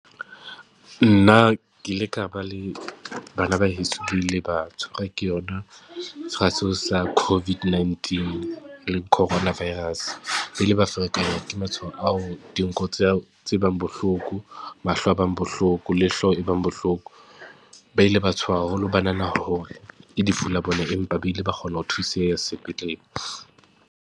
Nna ke ile ka ba le, bana ba heso ba ile ba tshwarwa ke yona feela sewa sa covid nineteen le coronavirus. Ba ile ba ferekanyang ke matshwao ao, dinko tseo tse bang bohloko, mahlo a bang bohloko le hloho e bang bohloko. Ba ile ba tshoha haholo, ba nahana hore ke lefu la bona empa ba ile ba kgona ho thuseha sepetlele.